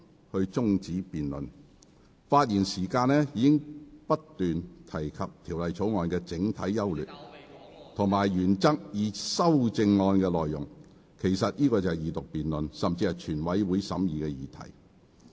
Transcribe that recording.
而且，議員發言時已不斷論述《條例草案》的整體優劣及原則以至修正案內容，這些實際上已是二讀辯論甚至全體委員會審議的議題。